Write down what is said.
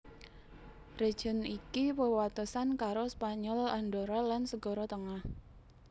Région iki wewatesan karo Spanyol Andorra lan Segara Tengah